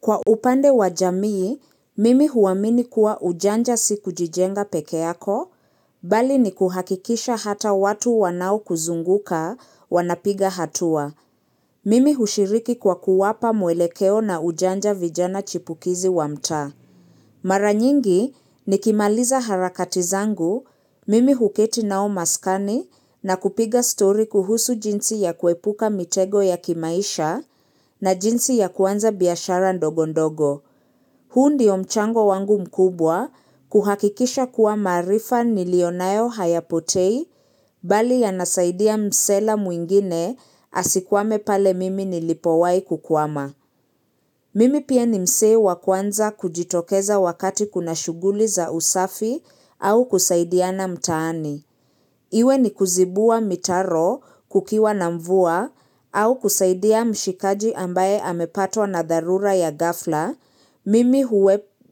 Kwa upande wa jamii, mimi huamini kuwa ujanja si kujijenga peke yako, bali ni kuhakikisha hata watu wanao kuzunguka wanapiga hatua. Mimi hushiriki kwa kuwapa mwelekeo na ujanja vijana chipukizi wa mtaa. Mara nyingi nikimaliza harakati zangu mimi huketi nao maskani na kupiga stori kuhusu jinsi ya kuepuka mitego ya kimaisha na jinsi ya kuanza biashara ndogo ndogo. Huu ndio mchango wangu mkubwa kuhakikisha kuwa maarifa niliyo nayo hayapotei bali yanasaidia msela mwingine asikwame pale mimi nilipowahi kukwama. Mimi pia ni mzee wa kwanza kujitokeza wakati kuna shuguli za usafi au kusaidiana mtaani. Iwe ni kuzibua mitaro kukiwa na mvua au kusaidia mshikaji ambaye amepatwa na dharura ya ghafla, mimi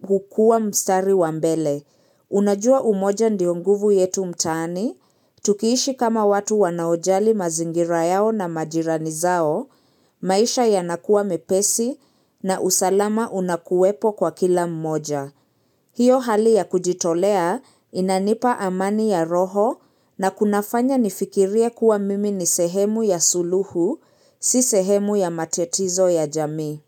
hukua mstari wa mbele. Unajua umoja ndio nguvu yetu mtaani, tukiishi kama watu wanaojali mazingira yao na majirani zao, maisha yanakuwa mepesi na usalama unakuwepo kwa kila mmoja. Hiyo hali ya kujitolea inanipa amani ya roho na kunafanya nifikirie kuwa mimi ni sehemu ya suluhu, si sehemu ya matatizo ya jamii.